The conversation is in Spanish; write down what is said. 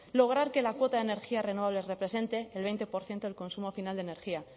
lograr que la cuota de energías renovables represente el veinte por ciento del consumo final de energía